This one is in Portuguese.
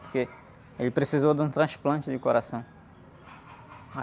Porque ele precisou de um transplante de coração.